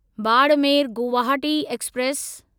Barmer Guwahati express